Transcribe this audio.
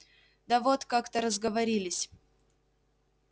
да вот как-то разговорились